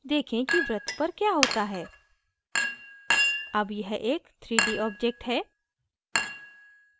देखें कि वृत्त पर क्या होता है अब यह एक 3d object है